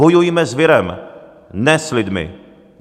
Bojujme s virem, ne s lidmi!